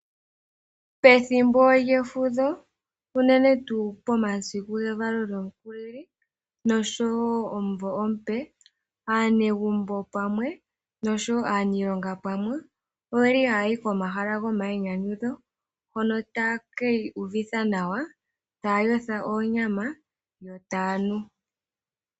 Pethimbo lyefudho unene tuu pomasiku gevalo lyomukulili nosho wo omuvo omupe, aanegumbo pamwe nosho wo aaniilonga pamwe oyeli hayayi komahala gomainyanyudho, hono taye ki iyuvitha nawa, taya yotha oonyama yo taya nu.